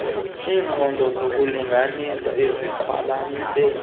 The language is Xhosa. iinqobo zokulinganisa emaziqwalaselwe